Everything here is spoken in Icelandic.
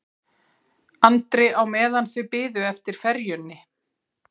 Andri á meðan þau biðu eftir ferjunni.